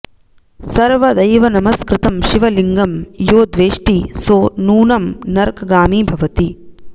सर्वदैवनमस्कृतं शिवलिंगं यो द्वेष्टिः सो नूनं नर्कगामी भवति